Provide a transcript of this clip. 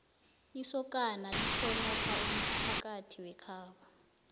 isokana lihlonopha umphakathi wekhabo